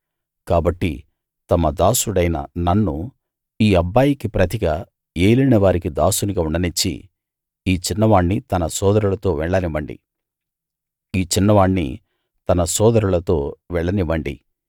కాబట్టి తమ దాసుడైన నన్ను ఈ అబ్బాయికి ప్రతిగా ఏలినవారికి దాసునిగా ఉండనిచ్చి ఈ చిన్నవాణ్ణి తన సోదరులతో వెళ్ళనివ్వండి